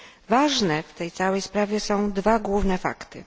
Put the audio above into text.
Ważne w tej całej sprawie są dwa główne fakty.